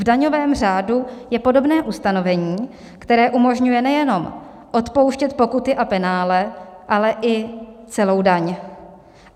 V daňovém řádu je podobné ustanovení, které umožňuje nejenom odpouštět pokuty a penále, ale i celou daň.